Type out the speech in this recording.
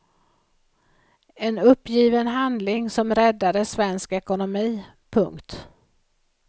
En uppgiven handling som räddade svensk ekonomi. punkt